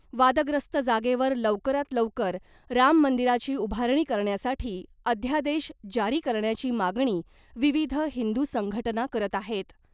वादग्रस्त जागेवर लवकरात लवकर राममंदिराची उभारणी करण्यासाठी अध्यादेश जारी करण्याची मागणी विविध हिंदू संघटना करत आहेत .